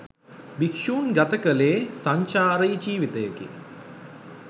භික්‍ෂූන් ගත කළේ සංචාරී ජීවිතයකි.